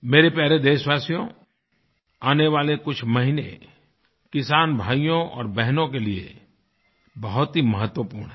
मेरे प्यारे देशवासियो आने वाले कुछ महीने किसान भाइयों और बहनों के लिए बहुत ही महत्वपूर्ण हैं